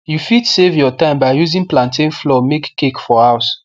u fit save your time by using plantain flour make cake for house